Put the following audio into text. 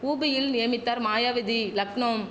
உபியில் நியமித்தார் மாயாவதி லக்னோம்